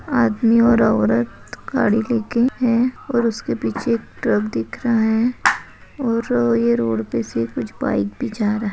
आदमी और औरत गाडी लेके है और उसके पीछे एक ट्रक दिख रहा है और ए रोडपे से कुछ बाइक भी जा रहा है।